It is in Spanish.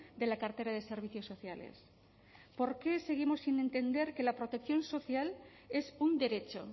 de la cartera de servicios sociales por qué seguimos sin entender que la protección social es un derecho